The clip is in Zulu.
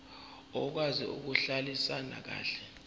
okwazi ukuhlalisana kahle